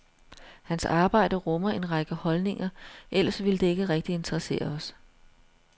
Hans arbejde rummer en række holdninger, ellers ville det ikke rigtig interessere os.